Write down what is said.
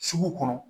Sugu kɔnɔ